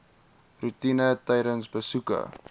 roetine tydens besoeke